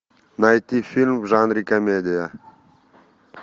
найти фильм в жанре комедия